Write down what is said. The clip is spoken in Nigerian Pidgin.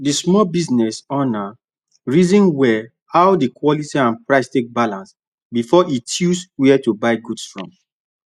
the small business owner reason well how the quality and price take balance before e choose where to buy goods from